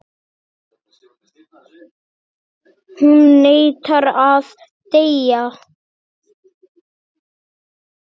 Hún neitar að deyja.